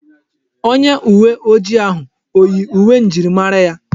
Onye uwe ojii ahụ oyi uwe njirimara ya?